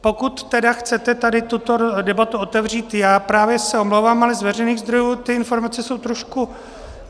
Pokud tedy chcete tady tuto debatu otevřít, já právě se omlouvám, ale z veřejných zdrojů ty informace jsou trochu...